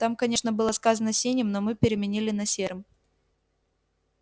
там конечно было сказано синим но мы переменили на серым